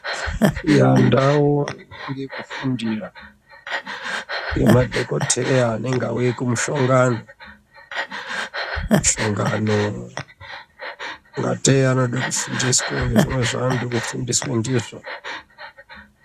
Muandau yekufundira yemadhokodheya anenge auya kumushongano , mushongano , kungatei anoda kufundiswa ngezvimwe zvaanoda kufundiswa ndizvo .